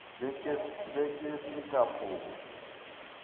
be ke se ka phoša